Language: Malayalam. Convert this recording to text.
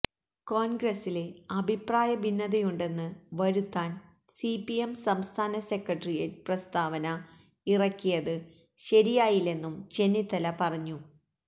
കോണ്ഗ്രസില് അഭിപ്രായ ഭിന്നതയുണ്ടെന്ന് വരുത്താന് സിപിഎം സംസ്ഥാന സെക്രട്ടെറിയറ്റ് പ്രസ്ഥാവന ഇറക്കിയത് ശരിയായില്ലെന്നും ചെന്നിത്തല പറഞ്ഞു